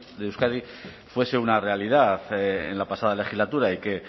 de euskadi fuese una realidad en la pasada legislatura y que